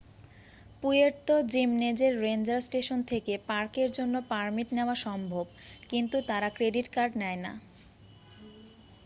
Puerto জিমনেজের ranger station থেকে পার্কের জন্য পারমিট নেওয়া সম্ভব কিন্তু তারা ক্রেডিট কার্ড নেয় না